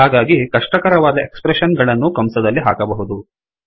ಹಾಗಾಗಿ ಕಷ್ಟಕರವಾದ expression ಗಳನ್ನೂ ಕಂಸದಲ್ಲಿ ಹಾಕಬಹುದು